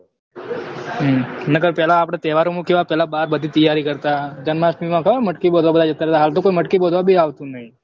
હમ નકર પહેલા આપડે તેહવારો માં કેવા પહેલા બધા બાર બધી તયારી કરતા જન્માસ્ટમી માં ખબર હે મટકી બાધવા જતા હલ તો કોઈ મટકી બાધવા કોઈ આવતું નહી